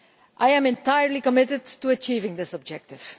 I am entirely committed to achieving this objective.